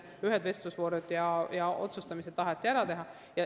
Ühed vestlusvoorud ja otsustamised taheti enne ära teha.